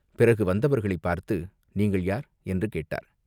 பிறகு வந்தவர்களைப் பார்த்து "நீங்கள் யார்?" என்று கேட்டார்.